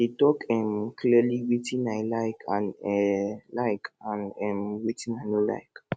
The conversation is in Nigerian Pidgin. i dey talk um clearly wetin i like and um like and um wetin i no like